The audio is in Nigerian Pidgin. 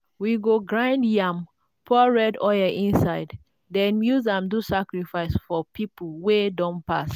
we go grind yam pour red inside then use am do sacrifice for our people wey don pass.